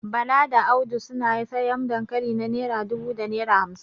Bala da Audu suna sayan dankali na naira dubu da naira hamsin